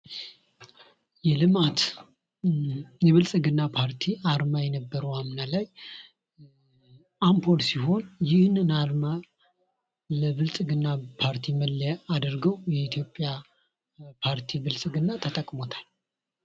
የልማት የብልጽግና ፓርቲ የነበረው አምና ላይ አምፖል ሲሆን ይህንን አርማ ለብልፅግና ፓርቲ መለያ አድርገው የኢትዮጵያ ፓርቲ ብልጽግና ተጠቅሞታል።